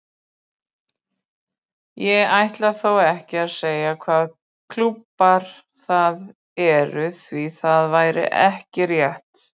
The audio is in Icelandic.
Ég ætla þó ekki að segja hvaða klúbbar það eru því það væri ekki rétt.